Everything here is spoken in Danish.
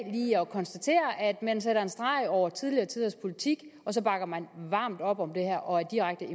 at konstatere at man slår en streg over tidligere tiders politik og så bakker man varmt op om det her og er direkte